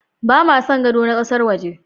Ba ma son gado na ƙasar waje.